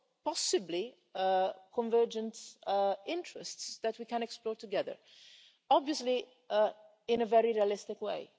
possibly a convergence of interests that we can explore together, obviously in a very realistic way.